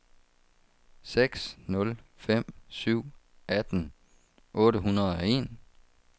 seks nul fem syv atten otte hundrede og en